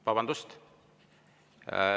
Vabandust!